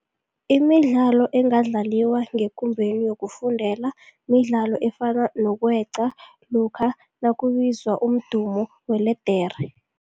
Imidlalo engadlaliwa ngekumbeni yokufundela midlalo efana nokweqa lokha nakubizwa umdumo weledere.